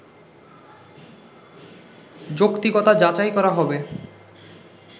যৌক্তিকতা যাচাই করা হবে